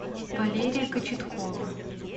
валерия кочеткова